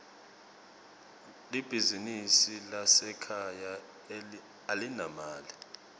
libizinsi lasekhaya alinamali